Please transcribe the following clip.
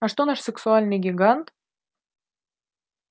а что наш сексуальный гигант